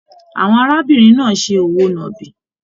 Àwọn arábìnrin náà se òwò náàbi.